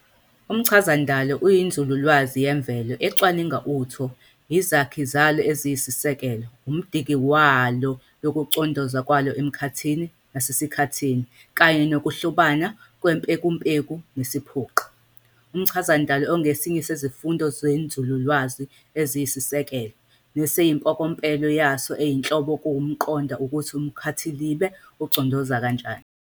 Umchazandalo uyinzululwazi yemvelo ecwaninga utho, izakhi zalo eziyisisekelo, umdiki walo nokucondoza kwalo emkhathini nasesikhathini, kanye nokuhlobana kwempekumpeku nesiphoqi. Umchazandalo ongesinye sezifundo zenzululwazi eziyisiseko, nesimpokompelo yaso eyinhloko kuwukuqonda ukuthi umkhathilibe ucondoza kanjani.